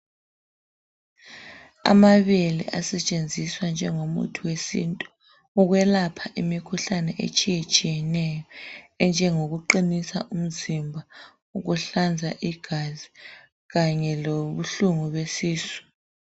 Amabele asetshenziswa njengomuthi wesintu. Ukwelapha imikhuhlane etshiyetshiyeneyo, enjengokuqinisa umzimba, ukuhlanza igazi. Kanye lobuhlungu besisqu.